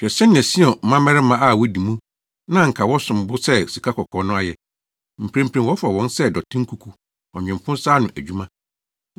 Hwɛ sɛnea Sion mmabarima a wodi mu na anka wɔsom bo sɛ sikakɔkɔɔ no ayɛ, mprempren wɔfa wɔn sɛ dɔte nkuku, ɔnwemfo nsa ano adwuma!